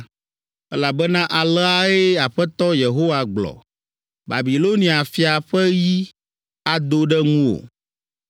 “ ‘Elabena aleae Aƒetɔ Yehowa gblɔ, “ ‘Babilonia fia ƒe yi Ado ɖe ŋuwò.